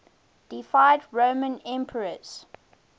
deified roman emperors